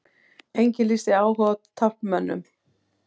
Enginn lýsti áhuga á taflmönnum